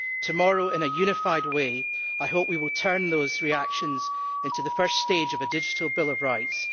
Tomorrow, in a unified way, I hope we will turn those reactions into the first stage of a digital bill of rights.